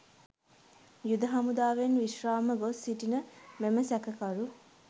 යුද හමුදාවෙන් විශ්‍රාම ගොස්‌ සිටින මෙම සැකකරු